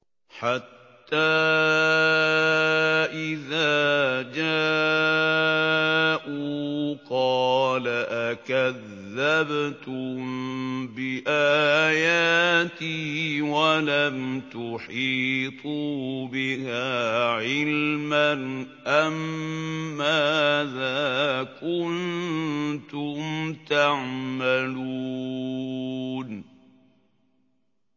حَتَّىٰ إِذَا جَاءُوا قَالَ أَكَذَّبْتُم بِآيَاتِي وَلَمْ تُحِيطُوا بِهَا عِلْمًا أَمَّاذَا كُنتُمْ تَعْمَلُونَ